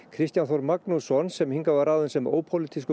Kristján Þór Magnússon sem hingað var ráðinn sem ópólitískur